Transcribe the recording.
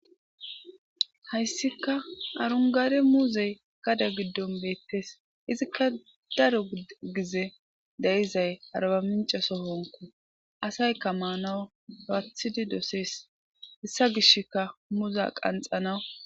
hayisika arunigade muzeyi gadde giddoni bettesi izikka daro gize deyizai aribamicce sohon assayika mannawu loyithidi dossesi